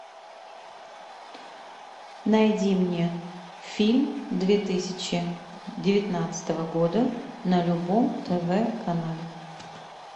найди мне фильм две тысячи девятнадцатого года на любом тв канале